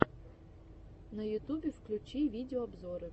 на ютубе включи видеообзоры